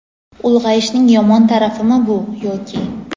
Ulg‘ayishning yomon tarafimi bu yoki?.